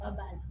Ka ban